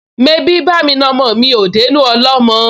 Mebí bá'mi na ọmọ mi ò dénú ọlọ́mọ?